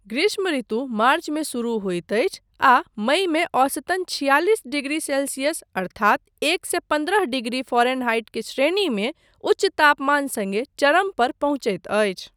ग्रीष्म ऋतु मार्चमे शुरू होइत अछि आ मईमे औसतन छियालिस डिग्री सेल्सियस अर्थात एक सए पन्द्रह डिग्री फारेनहाइट के श्रेणीमे उच्च तापमान सङ्गे चरम पर पहुँचैत अछि।